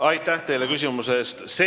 Aitäh teile küsimuse eest!